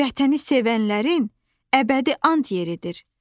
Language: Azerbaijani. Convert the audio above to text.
Vətəni sevənlərin əbədi an yeridir.